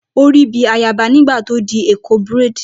Ó rí bíi ayaba nígbà tó di Eko braid.